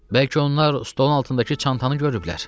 Bəlkə onlar stolun altındakı çantanı görüblər?